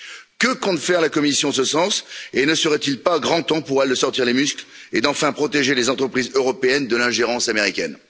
Que compte faire la Commission en ce sens et ne serait il pas grand temps pour elle de sortir les muscles et d'enfin protéger les entreprises européennes de l'ingérence américaine?